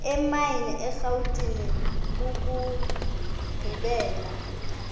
emine erhawutini ukugqibela